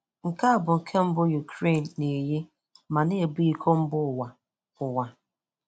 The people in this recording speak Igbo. Nke a bụ nke mbụ Ukraine na-eyi ma na-ebu iko mba ụwa. ụwa.